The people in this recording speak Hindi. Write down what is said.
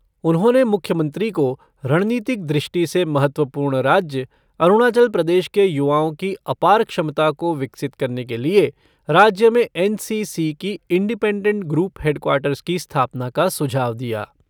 उन्होंने मुख्यमंत्री को रणनीतिक दृष्टि से महत्वपूर्ण राज्य अरुणाचल प्रदेश के युवाओं की अपार क्षमता को विकसित करने के लिए राज्य में एन सी सी की इंडिपेंडेंट ग्रुप हेडक्वार्टर्स की स्थापना का सुझाव दिया।